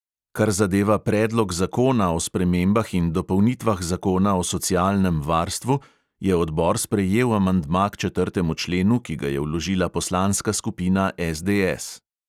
Kar zadeva predlog zakona o spremembah in dopolnitvah zakona o socialnem varstvu, je odbor sprejel amandma k četrtemu členu, ki ga je vložila poslanska skupina SDS.